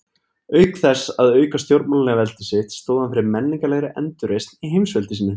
Auk þess að auka stjórnmálalegt veldi sitt, stóð hann fyrir menningarlegri endurreisn í heimsveldi sínu.